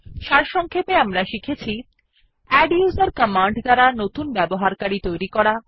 সারসংক্ষেপে আমরা শিখেছি160 আদ্দুসের কমান্ড দ্বারা নতুন ব্যবহারকারী তৈরী করা